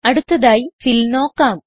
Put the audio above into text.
അടുത്തതായി ഫിൽ നോക്കാം